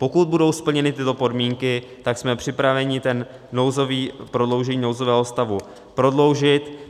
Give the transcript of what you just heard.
Pokud budou splněny tyto podmínky, tak jsme připraveni to prodloužení nouzového stavu prodloužit.